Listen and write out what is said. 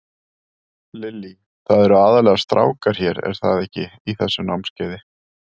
Lillý: Það eru aðallega strákar hér, er það ekki, í þessu námskeiði?